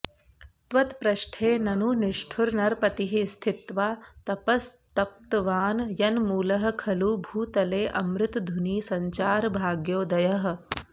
त्वत्पृष्ठे ननु निष्ठुर नरपतिः स्थित्वा तपस्तप्तवान् यन्मूलः खलु भूतलेऽमृतधुनी सञ्चार भाग्योदयः